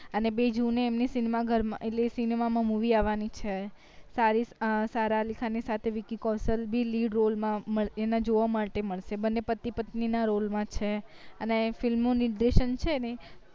અને બીજું ને એમની cinema ઘર માં એટલે cinema માં movie આવાની છે સારા અલી ખાન ની સાથે વીકી કૌશલ ભી lead role માં એમાં જોવા માટે મળશે બને પતિ પત્ની ના role માં છે અને film ની છે ને